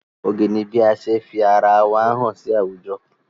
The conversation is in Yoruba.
Oge ni bí ase fi ara wa hàn sí àwùjọ.